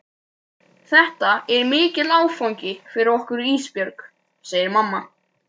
Þetta er mikill áfangi fyrir okkur Ísbjörg, segir mamma.